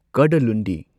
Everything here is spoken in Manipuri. ꯀꯗꯥꯂꯨꯟꯗꯤ